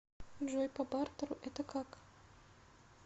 джой по бартеру это как